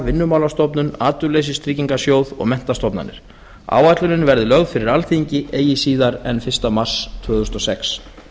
vinnumálastofnun atvinnuleysistryggingasjóð og menntastofnanir áætlunin verður lögð fyrir alþingi eigi síðar en fyrsta mars tvö þúsund og sex